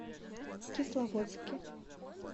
кисловодске